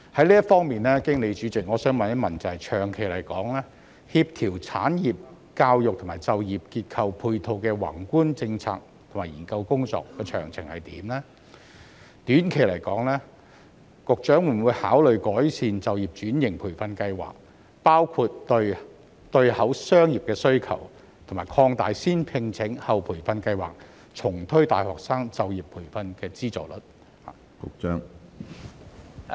就此，主席，我想問局長，長期而言，政府在協調產業教育及就業結構配套的宏觀政策和研究工作的詳情為何；短期而言，局長會否考慮改善就業轉型培訓計劃，包括對對口商業的需求，以及擴大"先聘請，後培訓"計劃，重推大學生就業培訓的資助呢？